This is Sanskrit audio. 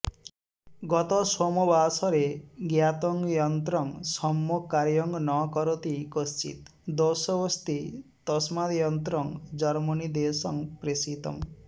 गत सोमवासरे ज्ञातं यन्त्रं सम्यग् कार्यं न करोति कश्चित् दोषऽस्ति तस्माद्यन्त्रं जर्मनीदेशं प्रेषितम्